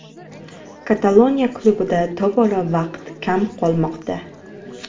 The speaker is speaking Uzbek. Kataloniya klubida tobora vaqt kam qolmoqda.